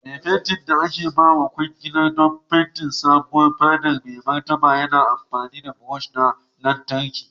Mai fenti da aka bawa kwangilar don fente sabuwar fadar Mai Martaba yana amfani da brush na lantarki.